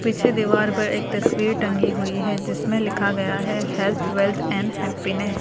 पीछे दीवार पर एक तस्वीर टंगी हुई है। जिसमें लिखा गया है हेल्थ वेल्थ एंड हैप्पीनेस ।